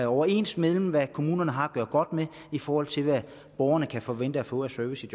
overens med hvad kommunerne har at gøre godt med i forhold til hvad borgerne kan forvente at få af service